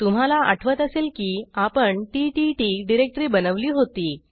तुम्हाला आठवत असेल की आपण टीटीटी डिरेक्टरी बनवली होती